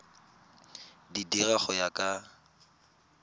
di dira go ya ka